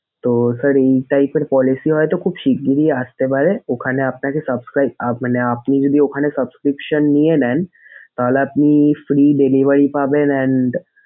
তো sir এই type এর policy ও হয়তো খুব শিঘ্রই আসতে পারে ওখানে আপনাকে subscribe মানে আপনি যদি ওখানে subscription নিয়ে নেন তাহলে আপনি free delivery পাবেন। and